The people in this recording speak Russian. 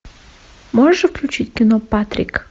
можешь включить кино патрик